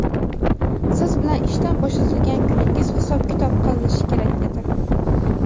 siz bilan ishdan bo‘shatilgan kuningiz hisob-kitob qilinishi kerak edi.